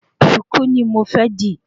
Sùkú ni mo fẹ́ dī